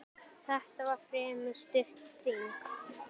Þetta var fremur stutt þing.